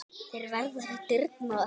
Þeir verða við dyrnar.